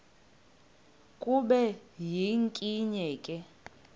kube yinkinge ke